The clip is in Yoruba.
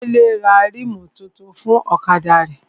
Délé ra rímù tuntun fún ọ̀kadà rẹ̀